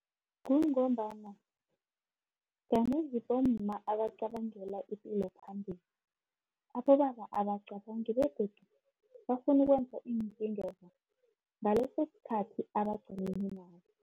Kungombana kanengi bomma, abacabangela ipilo phambili, abobaba abacabangi, begodu bafuna ukwenza ngaleso sikhathi abaqaleni naso.